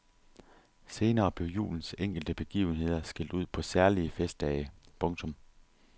Senere blev julens enkelte begivenheder skilt ud på særlige festdage. punktum